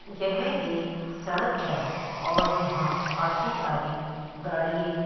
यह एक सड़क है और यहां काफी सारी गाड़ीये --